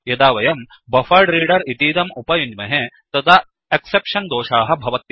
यदा वयं बफरेड्रेडर इतीदम् उपयुञ्ज्महे तदा एक्सेप्शन् दोषाः भवत्येव